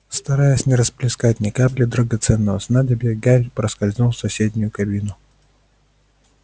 стараясь не расплескать ни капли драгоценного снадобья гарри проскользнул в соседнюю кабинку